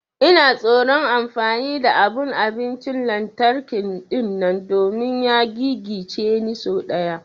Ina tsoron amfani da abun abincin lantarki dinnan domin ya gigice ni sau daya.